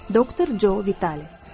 Doktor Joe Vitali.